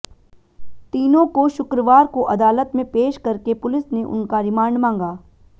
तीनों को शुक्रवार को अदालत में पेश करके पुलिस ने उनका रिमांड मांगा